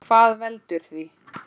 Hvað veldur því?